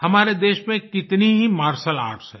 हमारे देश मे कितनी ही मार्शियल आर्ट्स हैं